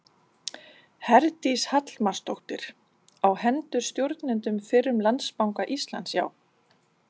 Herdís Hallmarsdóttir: Á hendur stjórnendum fyrrum Landsbanka Íslands, já?